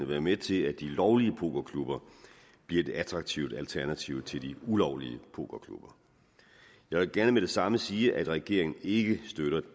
være med til at de lovlige pokerklubber bliver et attraktivt alternativ til de ulovlige pokerklubber jeg vil gerne med det samme sige at regeringen ikke støtter